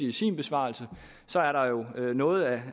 i sin besvarelse er der jo noget af